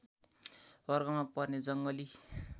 वर्गमा पर्ने जङ्गली